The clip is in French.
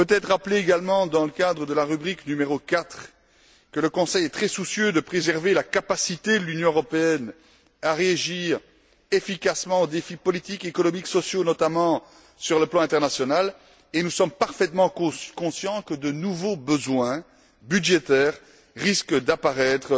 Rappelons également, dans le cadre de la rubrique n° 4, que le Conseil est très soucieux de préserver la capacité de l'Union européenne à réagir efficacement aux défis politiques, économiques et sociaux, notamment sur le plan international, et nous sommes parfaitement conscients que de nouveaux besoins budgétaires risquent d'apparaître